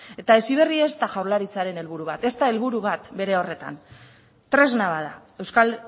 eta heziberri ez da jaurlaritzaren helburu bat ez da helburu bat bere horretan tresna bat da euskal